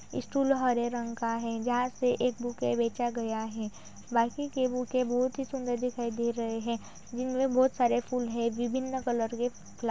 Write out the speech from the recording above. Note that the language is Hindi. स्टूल हरे रंग का है | यहाँ से एक बुके बेचा गया है बाकी के बुके बहुत ही सुन्दर दिखाई दे रहें हैं जिनमे बोहत सारे फूल हैं बिभिन्न कलर के फ्ला --